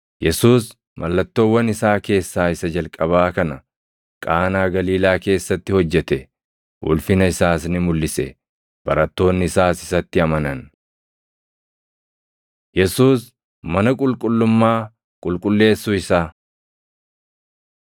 Yesuus mallattoowwan isaa keessaa isa jalqabaa kana Qaanaa Galiilaa keessatti hojjete. Ulfina isaas ni mulʼise; barattoonni isaas isatti amanan. Yesuus Mana Qulqullummaa Qulqulleessuu Isaa 2:14‑16 kwf – Mat 21:12,13; Mar 11:15‑17; Luq 19:45,46